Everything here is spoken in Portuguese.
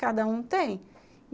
cada um tem.